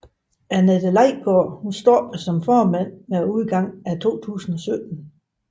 Anette Laigaard stoppede som formand med udgangen af 2017